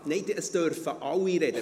Ja, es dürfen alle sprechen.